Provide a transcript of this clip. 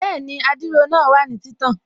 Bẹ́ẹ̀ni, adiro náà wà ní títàn